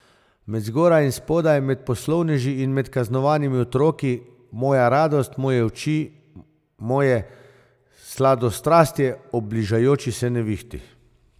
Med zgoraj in spodaj, med poslovneži in med kaznovanimi otroki, moja radost, moje oči, moje sladostrastje ob bližajoči se nevihti.